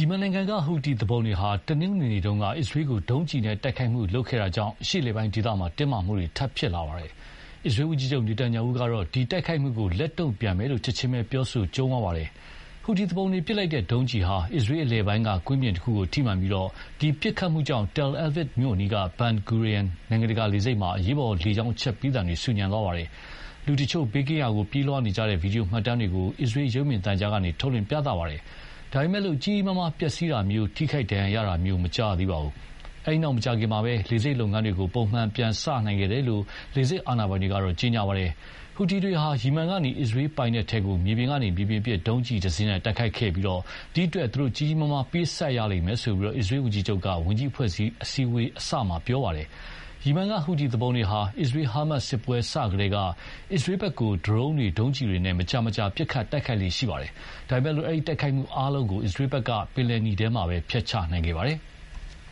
ီမန်နိုင်ငံကဟူသီသူပုန်တွေဟာ တနင်္ဂနွေနေ့က အစ္စရေးကို ဒုံးကျည်နဲ့တိုက်ခိုက်ခဲ့တာ အရှေ့အလယ်ပိုင်းဒေသတင်းမာမှု ထပ်ဖြစ်လာပါတယ်။ အစ္စရေးဝန်ကြီးချုပ် နေတန်ယာဟုကတော့ ဒီတိုက်ခိုက်မှုကို လက်တုံ့ပြန်မယ်လို့ ချက်ခြင်းပဲပြောဆိုကြုံးဝါးပါတယ်။ ဟူတီသူပုန်တွေပစ်လိုက်တဲ့ဒုံးကျည်ဟာ အစ္စရေးအလယ်ပိုင်းကကွင်းပြင်တခုကိုထိမှန်ပြီး ဒီပစ်ခတ်မှုကြောင့် Tel Aviv မြို့အနီးက Ben Gurion နိုင်ငံတကာလေဆိပ်မှာ အရေးပေါ်လေကြောင်းအချက်ပေးသံတွေ ဆူညံသွားပါတယ်။ လူတချို့ ဘေးကင်းရာကို ပြေးလွှားနေကြတဲ့ ဗွီဒီယိုမှတ်တမ်းတွေကို အစ္စရေးရုပ်မြင်သံကြားကနေ ထုတ်လွှင့်ပြသပါတယ်။ ဒါပေမယ့် ကြီးကြီးမားမားပျက်စီးတာမျိုး၊ ထိခိုက်ဒဏ်ရာရတာမျိုး မကြားရသေးပါဘူး။ အဲဒီနောက်မကြာခင်မှာပဲ လေဆိပ်လုပ်ငန်း ပုံမှန်ပြန်စခဲ့တယ်လို့ လေဆိပ်အာဏာပိုင်ကတော့ ကြေညာပါတယ်။ ဟူသီတွေဟာ ယီမန်ကနေအစ္စရေးပိုင်နက်ထဲကို မြေပြင်ကနေမြေပြင်ပစ် ဒုံးကျည်တစင်းနဲ့ တိုက်ခိုက်ခဲ့ပြီး ဒီအတွက် ကြီးကြီးမားမား ပေးဆပ်ရလိမ့်မယ်လို့ အစ္စရေးဝန်ကြီးချုပ်က ဝန်ကြီးအဖွဲ့အစည်းအဝေးအစမှာပဲ ပြောခဲ့ပါတယ်။ ယီမန်ကဟူသီသူပုန်တွေဟာ အစ္စရေး-ဟာမတ်စစ်ပွဲစကတည်းက အစ္စရေးဘက်ကို ဒရုန်းတွေ၊ ဒုံးကျည်တွေနဲ့ မကြာမကြာ ပစ်ခတ်တိုက်ခိုက် လေ့ရှိပါတယ်။ ဒါပေမယ့် အဲဒီတိုက်ခိုက်မှုအားလုံးကို အစ္စရေးဘက်က ပင်လယ်နီထဲမှာပဲ ဖျက်ချနိုင်ခဲ့ပါတယ်။